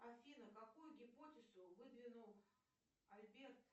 афина какую гипотезу выдвинул альберт